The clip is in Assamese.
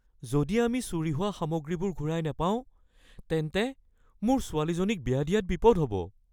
যদি আমি চুৰি হোৱা সামগ্ৰীবোৰ ঘূৰাই নাপাওঁ, তেন্তে মোৰ ছোৱালীজনীক বিয়া দিয়াত বিপদ হ’ব। (নাগৰিক)